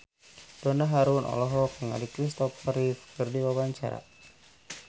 Donna Harun olohok ningali Kristopher Reeve keur diwawancara